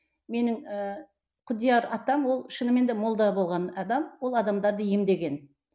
менің ііі құдияр атам ол шынымен де молда болған адам ол адамдарды емдеген